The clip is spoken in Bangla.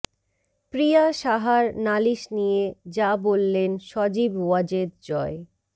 প্রিয়া সাহার নালিশ নিয়ে যা বললেন সজীব ওয়াজেদ জয়